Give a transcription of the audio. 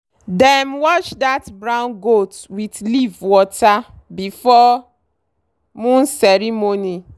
dem wash that brown goat with leaf water before moon ceremony.